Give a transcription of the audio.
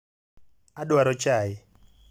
adwaro chai.